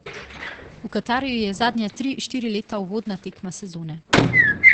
V Katarju je zadnja tri, štiri leta uvodna tekma sezone.